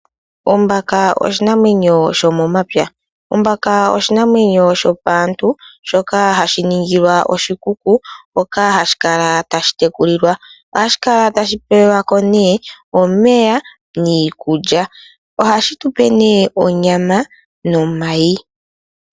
Ombaka oshinamwenyo shomomapya. Ombaka oshinamwenyo shopantu shoka hashi ningilwa oshikuku hoka hashi kala tashi tekulilwa. Ohashi kala tashi pelwako omeya niikulya ohashi tupe onyama nomayi.